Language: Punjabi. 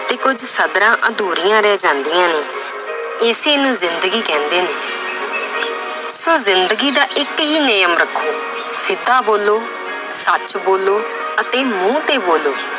ਤੇ ਕੁੱਝ ਸਧਰਾਂ ਅਧੂਰੀਆਂ ਰਹਿ ਜਾਂਦੀਆਂ ਨੇ ਇਸੇ ਨੂੰ ਜ਼ਿੰਦਗੀ ਕਹਿੰਦੇ ਨੇ ਸੋ ਜ਼ਿੰਦਗੀ ਦਾ ਇੱਕ ਹੀ ਨਿਯਮ ਰੱਖੋ ਸਿੱਧਾ ਬੋਲੋ, ਸੱਚ ਬੋਲੋ ਅਤੇ ਮੂੰਹ ਤੇ ਬੋਲੋ